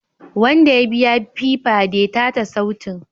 Wanda ya biya Piper detate sautin